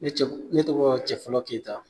Ne ne tɔgɔ Cɛfɔlɔ Keyita